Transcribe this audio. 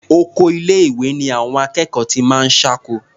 Oko ilé-ìwé ni àwọn akẹ́kọ̀ọ́ ti máa ń ṣáko.